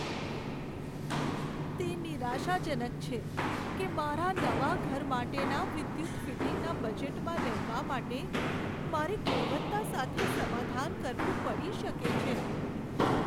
તે નિરાશાજનક છે કે મારા નવા ઘર માટેના વિદ્યુત ફિટિંગના બજેટમાં રહેવા માટે મારે ગુણવત્તા સાથે સમાધાન કરવું પડી શકે છે.